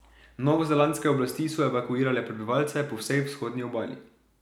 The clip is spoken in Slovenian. Novozelandske oblasti so evakuirale prebivalce po vsej vzhodni obali.